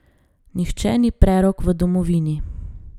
Nihče ni prerok v domovini.